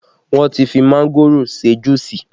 Wọn ti fi mángòrò ṣe juusi